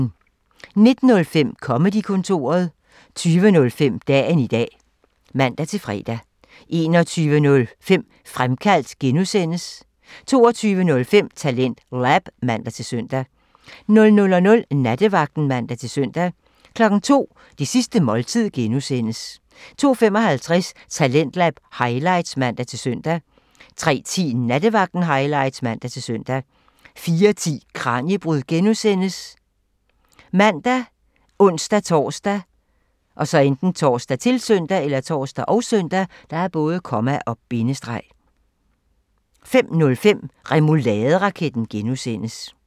19:05: Comedy-kontoret (man) 20:05: Dagen i dag (man-fre) 21:05: Fremkaldt (G) (man) 22:05: TalentLab (man-søn) 00:00: Nattevagten (man-søn) 02:00: Det sidste måltid (G) (man) 02:55: Talentlab highlights (man-søn) 03:10: Nattevagten highlights (man-søn) 04:10: Kraniebrud (G) ( man, ons-tor, -søn) 05:05: Remouladeraketten (G) (man)